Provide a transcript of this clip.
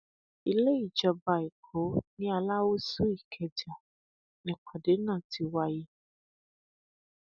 ilé ìjọba ẹkọ ni aláúsù ìkẹjà nípàdé náà ti wáyé